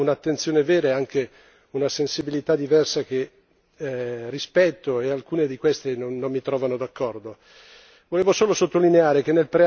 Questa discussione è importante segnala un'attenzione vera e anche una sensibilità diversa che rispetto e alcune di queste non mi trovano d'accordo.